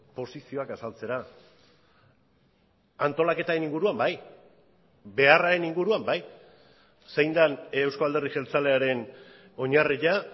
posizioak azaltzera antolaketaren inguruan bai beharraren inguruan bai zein den euzko alderdi jeltzalearen oinarria